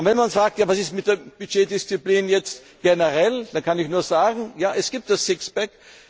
Wenn man sagt, was ist mit der Budgetdisziplin jetzt generell, dann kann ich nur sagen Ja, es gibt das Sixpack.